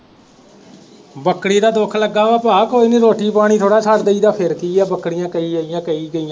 ਬੱਕਰੀ ਦਾ ਦੁੱਖ ਲੱਗਾ ਵਾ ਭਾਅ, ਕੋਈ ਨਹੀਂ ਰੋਟੀ ਪਾਣੀ ਥੋੜਾ ਛੱਡ ਦੇਈ ਦਾ, ਫੇਰ ਕੀ ਹੈ, ਬੱਕਰੀਆਂ ਕਈ ਆਈਆਂ, ਕਈ ਗਈਆਂ